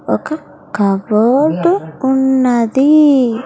ఒక కబోర్డ్ ఉన్నది .]